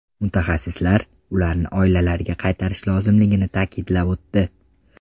Mutaxassislar ularni oilalariga qaytarish lozimligini ta’kidlab o‘tdi.